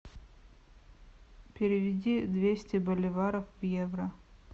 переведи двести боливаров в евро